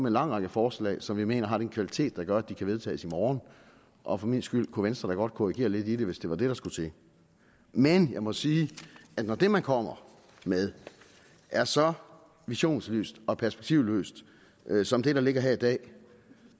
en lang række forslag som jeg mener har den kvalitet der gør at de kan vedtages i morgen og for min skyld kunne venstre da godt korrigere lidt i det hvis det var det der skulle til men jeg må sige at når det man kommer med er så visionsløst og perspektivløst som det der ligger her i dag